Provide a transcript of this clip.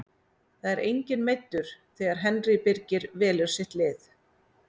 Það er enginn meiddur þegar Henry Birgir velur sitt lið.